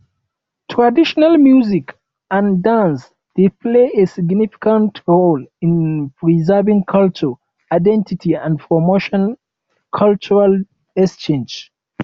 traditional music and dance dey play a significant role in preserving cultural identity and promote cultural exchange